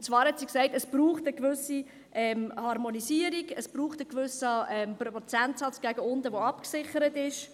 Und zwar hat sie gesagt, es brauche eine gewisse Harmonisierung, es brauche einen gewissen Prozentsatz nach unten, der abgesichert ist.